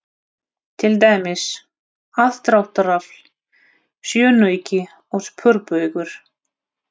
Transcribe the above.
Til dæmis: aðdráttarafl, sjónauki og sporbaugur.